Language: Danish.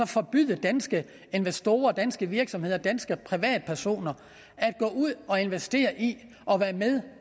forbyde danske investorer danske virksomheder og danske privatpersoner at gå ud og investere i og være med